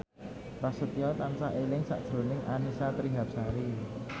Prasetyo tansah eling sakjroning Annisa Trihapsari